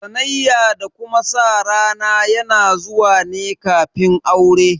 Sanayya da kuma sa rana yana zuwa ne kafin aure